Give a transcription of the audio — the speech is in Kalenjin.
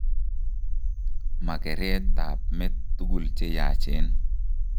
Ma kereret ab met tugul cheyachen